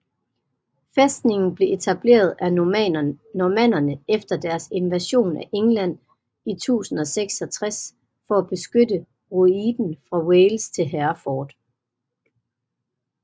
Fæstningen blev etableret af normannerne efter deres invasion af England i 1066 for at beskytte ruiten fra Wales til Hereford